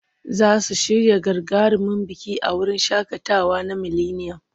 Za su shirya gagarumin biki a wurin shaƙatawa na mileniyam.